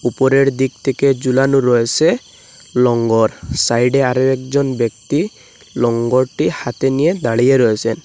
উপরের দিক থেকে ঝুলানো রয়েসে লঙ্গর সাইড -এ আরো একজন ব্যক্তি লঙ্গরটি হাতে নিয়ে দাঁড়িয়ে রয়েসেন।